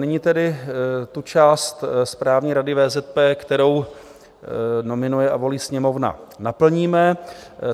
Nyní tedy tu část Správní rady VZP, kterou nominuje a volí Sněmovna, naplníme.